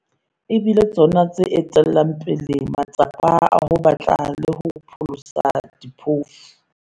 e bile tsona tse etellang pele matsapa a ho batla le ho pholosa diphofu.